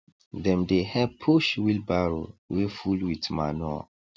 dem dey help push wheelbarrow wey full with manure